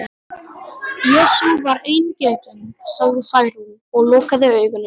Jesú var eingetinn, sagði Særún og lokaði augunum.